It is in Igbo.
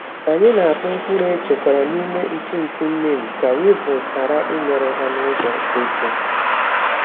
Anyị na-akpụ mkpụrụ echekwara n’ime ntụ ntụ neem ka weevils ghara imerụ ha n’ụzọ eke.